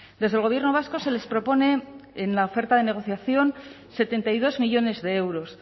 desde el gobierno vasco se les propone en la oferta de negociación setenta y dos millónes de euros